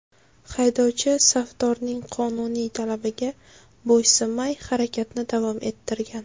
Haydovchi safdorning qonuniy talabiga bo‘ysunmay harakatni davom ettirgan.